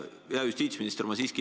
Hea justiitsminister!